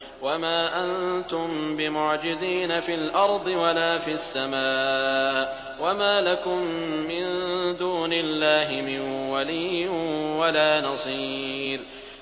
وَمَا أَنتُم بِمُعْجِزِينَ فِي الْأَرْضِ وَلَا فِي السَّمَاءِ ۖ وَمَا لَكُم مِّن دُونِ اللَّهِ مِن وَلِيٍّ وَلَا نَصِيرٍ